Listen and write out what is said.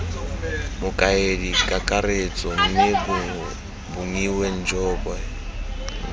mokaedi kakaretso mme bongiwe njobe